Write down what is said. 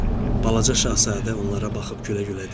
Balaca Şahzadə onlara baxıb gülə-gülə dedi: